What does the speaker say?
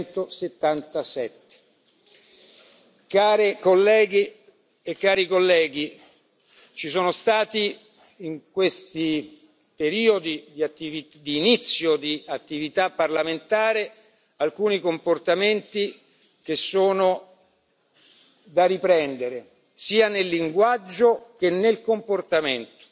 177. Onorevoli colleghe e onorevoli colleghi, ci sono stati in questo periodo di inizio di attività parlamentare alcuni comportamenti che sono da riprendere sia nel linguaggio che nel comportamento.